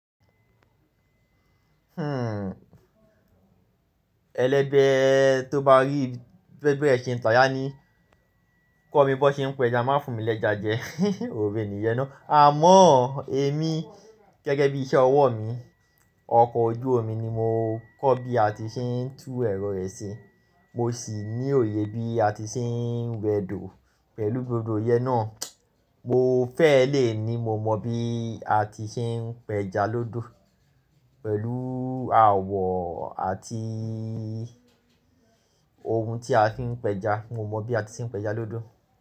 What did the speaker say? Hmm, ẹlẹ́bẹ̀ tó bá rí bẹ́bẹ̀ ẹ̀sìn tà yá ni, kó mi bọ́ ṣe ń p’ẹja, má fún mi l’ẹja jẹ, òré ni iye ná. Àmọ́ èmi gẹ́gẹ́ bí iṣẹ́ ọwọ́ mi, ọkọ̀ ojú omi ni mo kọ́ bí a ti ṣe ń tú ẹ̀rọ rẹ̀ ṣe, mo sì ní òye bí a ti ṣe ń wẹ do pẹ̀lú gbogbo oyẹ náà. Mo fẹ́ lè ní mo mọ bí a ti ṣe ń pẹja lódo pẹ̀lú àwọ̀ àti ohun tí a fi ń pẹja. Mo mọ bí a ti ṣe ń pẹja lódo.